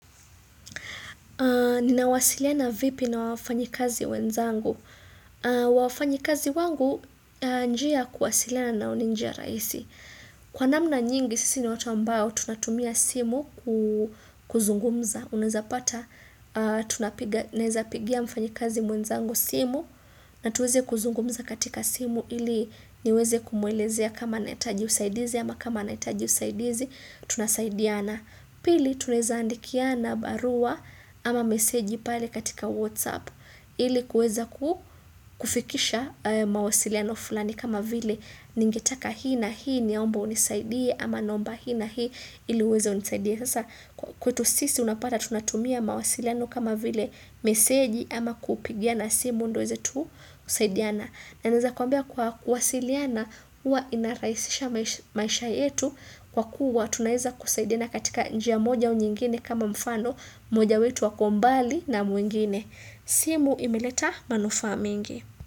Nina wasiliana vipi na wafanyikazi wenzangu. Wafanyikazi wangu njia kuwasiliana nao ninjiya raisi. Kwa namna nyingi sisi ni watu ambao tunatumia simu kuzungumza. Uneza pata tunapiga nawezapigia mfanyikazi mwenzangu simu na tuweze kuzungumza katika simu ili niweze kumwelezea kama naitaji usaidizi ama kama naitaji usaidizi tunasaidiana. Pili tunaezaandikiana barua ama meseji pale katika whatsapp ili kuweza kufikisha mawasiliano fulani kama vile ningetaka hii na hii niamba unisaidie ama naomba hii na hii ili weza unisaidie. Sasa kwetu sisi unapata tunatumia mawasiliano kama vile meseji ama kupigiana simu ndo eze tu kusaidiana. Na neza kuambia kwa kuwasiliana uwa inaraisisha maisha yetu kwa kuwa tunaeza kusaidiana katika njia moja au nyingine kama mfano mmoja wetu wako mbali na muingine. Simu imeleta manufaa mingi.